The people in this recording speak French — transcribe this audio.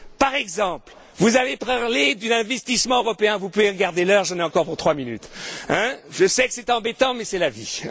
Par exemple, vous avez parlé de l'investissement européen vous pouvez regarder l'heure, j'en ai encore pour trois minutes, je sais que c'est embêtant, mais c'est la vie.